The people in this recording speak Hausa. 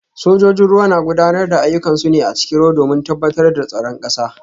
Sojojin ruwa na gudanar da ayyukansu ne a cikin ruwa domin tabbatar da tsaron kasar